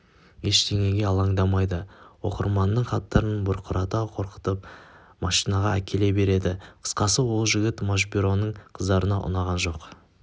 ештеңеге алаңдамайды оқырманның хаттарын бұрқырата қорытып машинкаға әкеле береді қысқасы ол жігіт машбюроның қыздарына ұнаған жоқ